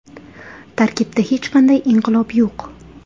Tarkibda hech qanday inqilob yo‘q.